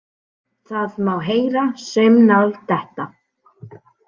Það má heyra saumnál detta.